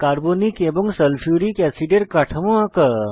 carbonic acid এবং sulphuric অ্যাসিডের কাঠামো আঁকা